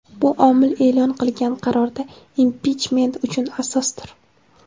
bu omil e’lon qilingan qarorda impichment uchun asosdir.